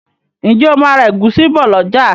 ǹjẹ́ o ma ra ẹ̀gúsí bọ̀ lọ̀jà?